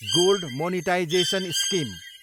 gold monetisation scheme